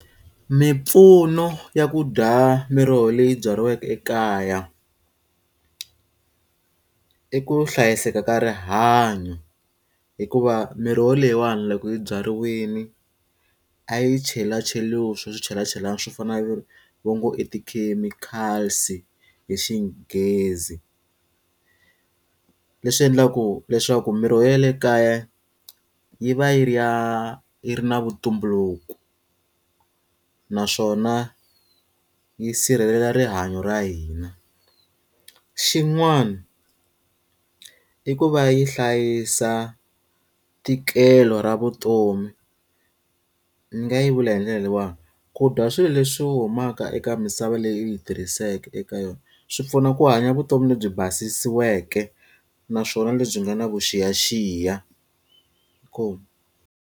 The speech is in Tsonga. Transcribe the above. Mimpfuno ya ku dya miroho leyi byariweke ekaya. I ku hlayiseka ka rihanyo, hikuva miroho leyiwani loko yi byariwile, a yi chelacheriwi swa swichelachelani swo fana na va ngo i ti-chemicals-i hi xinghezi. Leswi endlaku leswaku miroho ya le kaya yi va yi ri ya yi ri na vuntumbuluko, naswona yi sirhelela rihanyo ra hina. Xin'wana i ku va yi hlayisa ntikelo ra vutomi. Ndzi nga yi vula hi ndlela leyiwani, ku dya swilo leswi humaka eka misava leyi u yi tirhiseke eka yona swi pfuna ku hanya vutomi lebyi basisiweke naswona lebyi nga na vuxiyaxiya. .